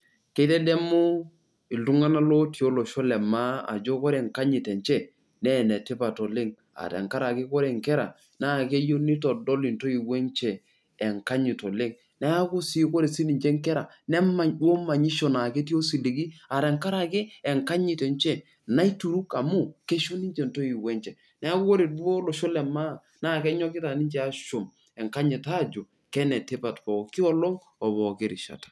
Keitedemu iltung'anak lotii olosho lemaa ajo kore enkanyit enche naa enetipat oleng' aa tenkarake kore nkera naa keyieu neitodol intoiwuo enche enkanyit oleng' Neeku sii kore siininche nkera nemany duo manyisho naa ketii osiligi aa tenkarake enkanyit naituruk amu keisho ninche ntoiwuo enche. Neeku kore duo olosho lemaa naa kenyokita aashum enkanyit aajo kenetipat pooki olong' o pooki rishata.